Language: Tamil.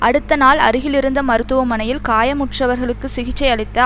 அடுத்த நாள் அருகில் இருந்த மருத்துவமனையில் காயமுற்றவர்களுக்கு சிகிச்சை அளித்த